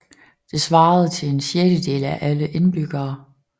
Det svarede til en sjettedel af alle indbyggere